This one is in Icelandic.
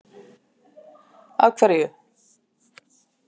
Af hverju?